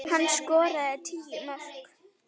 Hann skoraði tíu mörk.